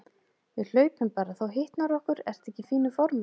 Við hlaupum bara, þá hitnar okkur. ertu ekki í fínu formi?